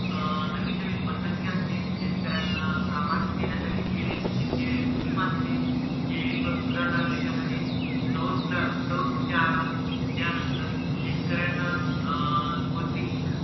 अं नवीन नवीन पद्धती असतील शेतकऱ्यांना लाभारती देण्यासाठी जे नवीन जे scheme असतील जे उदारणार्थ त्याच्या मध्ये सौरऊर्जा, सौरऊर्जा आला त्यानंतर शेतकऱ्यांना अं कोणतेही